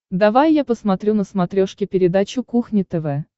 давай я посмотрю на смотрешке передачу кухня тв